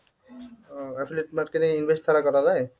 ও affiliate marketing invest ছাড়া করা যায়?